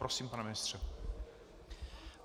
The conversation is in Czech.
Prosím pane ministře.